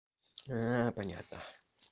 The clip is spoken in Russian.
понятно